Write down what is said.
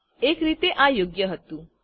એક રીતે આ યોગ્ય હતું